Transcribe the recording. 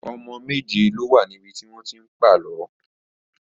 Ọmọ méje ló wà níbi tí wọ́n ti ń pàlọ́